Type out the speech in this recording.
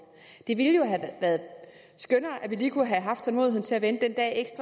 det ville jo have været skønnere at vi lige kunne have haft tålmodigheden til at vente den dag